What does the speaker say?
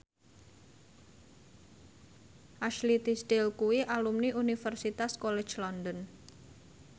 Ashley Tisdale kuwi alumni Universitas College London